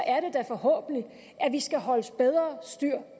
er det da forhåbentlig at vi skal holde bedre styr